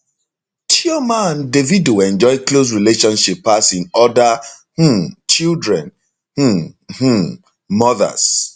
chioma and davido enjoy close relationship pass im oda um children um um mothers